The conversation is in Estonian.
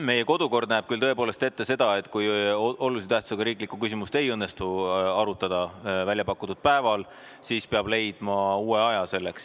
Meie kodukord näeb küll tõepoolest ette seda, et kui olulise tähtsusega riiklikku küsimust ei õnnestu arutada välja pakutud päeval, siis peab selleks leidma uue aja.